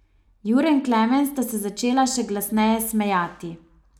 Jure in Klemen sta se začela še glasneje smejati.